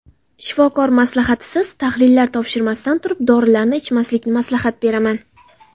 Shifokor maslahatisiz, tahlillar topshirmasdan turib, dorilarni ichmaslikni maslahat beraman.